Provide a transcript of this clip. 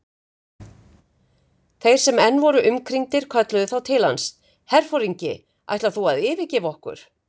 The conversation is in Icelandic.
Þeir sem enn voru umkringdir kölluðu þá til hans: Herforingi, ætlar þú að yfirgefa okkur?